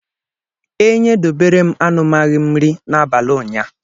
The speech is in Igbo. Enye doberem anụmau m nri n'abli unya.